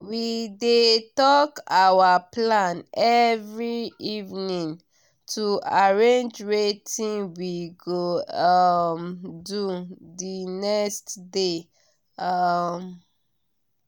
we dey talk our plan every evening to arrange wetin we go um do the next day. um